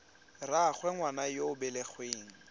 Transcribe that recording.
rraagwe ngwana yo o belegweng